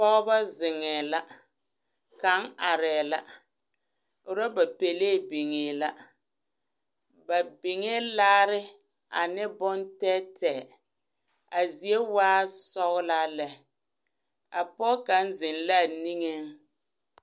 Pogeba zeŋee la kaŋ arɛɛ la ɔrɔba pelee biŋee la ba biŋee laare ane boŋ tɛɛtɛɛ a zie waa sɔglaa lɛ a poge kaŋ zeŋ la a niŋee.